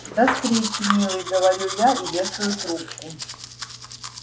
до встречи милый говорю я и вешаю трубку